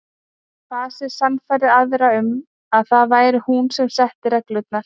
Fasið sannfærði aðra um að það væri hún sem setti reglurnar.